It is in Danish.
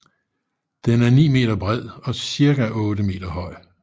Den er 9 meter bred og ca 8 meter høj